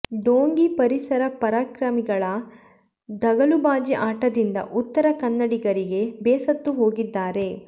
ಢೋಂಗಿ ಪರಿಸರ ಪರಾಕ್ರಮಿಗಳ ದಗಲುಬಾಜಿ ಆಟದಿಂದ ಉತ್ತರ ಕನ್ನಡಿಗರೀಗ ಬೇಸತ್ತು ಹೋಗಿದ್ದಾರೆ